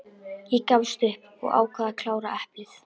Ég gafst upp og ákvað að klára eplið.